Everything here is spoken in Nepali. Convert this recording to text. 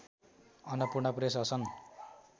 अन्नपूर्णा प्रेस असन